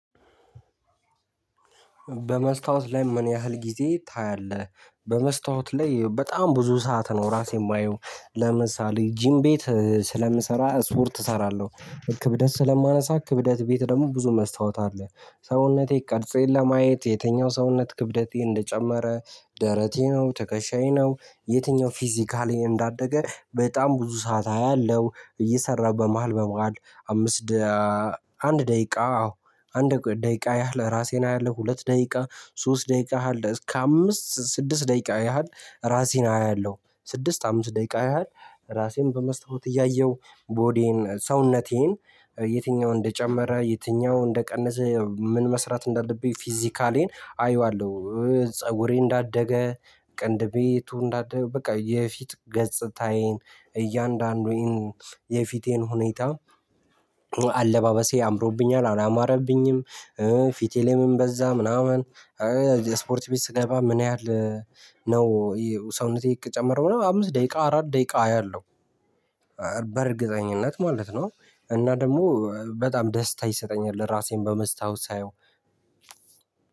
በመስታወት ላይ ምን ያህል ጊዜ ታያለህ? በመስታወት ላይ በጣም ብዙ ሰዓት ነው ራሴ የማየው። ለምሳሌ ጂም ቤት ስለምሰራ ስፖርት እሰራለህ ክብደት ስለማነሳ ክብደት ቤት ደግሞ ብዙ መስታወት አለ። ሰውነቴ ቀርጽዬን ለማየት የትኛው ሰውነት ክብደቴ እንደጨመረ ደረቴ ነው ተከሻዬ ነው የትኛው ፊዚካሊ እንዳደገ በጣም ብዙ ሰዓት አለው። እየሰራሁ በመሃል በመዋድ አምስት ደቂቃ አንድ ደቂቃ አዎ አንድ ደቂቃ ያህል ራሴን አያለሁ። ሁለት ደቂቃ ሶስት ደቂቃ አለ እስከ አምስት ስድስት ደቂቃ ያህል ራሴን አያለሁ። ስድስት አምስት ደቂቃ ያህል ራሴን በመስሎት እያየሁ ቦዲዬን ሰውነቴን የትኛውን እንደጨመረ የትኛው እንደቀነሰ ምን መስራት እንዳለብኝ ፊዚካሌን አየዋለሁ። ፀጉሬ እንዳደገ ቅንድቤቱ እንዳደገ በቃ የፊት ገፅታዬን እያንዳንዱን የፊቴን ሁኔታ። አለባበሴ አምሮብኛል አላማረብኝም። ፊቴ ላይ ምን በዛ ምናምን። ስፖርት ቤት ስገባ ምን ያህል ነው? ሰውነቴ እቅ ጨመረው ነው አምስት ደቂቃ አራት ደቂቃ ያለው በእርግጠኝነት ማለት ነው። እና ደግሞ በጣም ደስታ ይሰጠኛል ራሴን በመስታወት ሳየው።